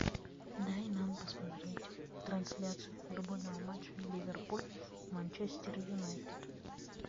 дай нам посмотреть трансляцию футбольного матча ливерпуль манчестер юнайтед